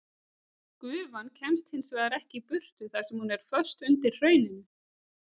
Gufan kemst hins vegar ekki í burtu þar sem hún er föst undir hrauninu.